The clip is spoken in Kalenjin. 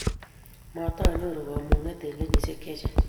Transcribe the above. matanyoru kamung'et eng' kenyisiek che chang'